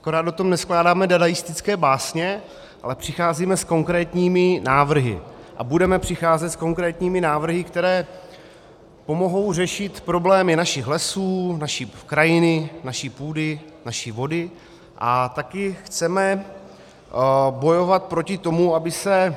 Akorát o tom neskládáme dadaistické básně, ale přicházíme s konkrétními návrhy a budeme přicházet s konkrétními návrhy, které pomohou řešit problémy našich lesů, naší krajiny, naší půdy, naší vody, a také chceme bojovat proti tomu, aby se